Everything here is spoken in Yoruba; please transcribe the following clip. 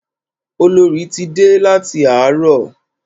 Olorì ti dé láti àárọ̀.